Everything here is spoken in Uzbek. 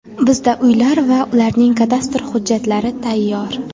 Bizda uylar va ularning kadastr hujjatlari tayyor.